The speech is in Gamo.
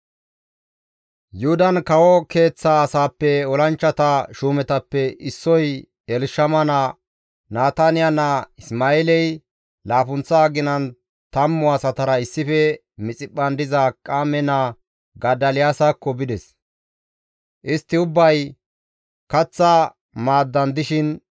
Yuhudan kawo keeththa asaappe olanchchata shuumetappe issoy Elshama naa, Nataniya naa Isma7eeley laappunththa aginan tammu asatara issife Mixiphphan diza Akiqaame naa Godoliyaasakko bides. Istti ubbay kaththa maaddan dishin,